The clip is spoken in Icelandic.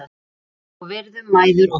Elskum og virðum mæður okkar.